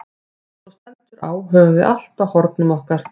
Þegar svo stendur á höfum við allt á hornum okkar.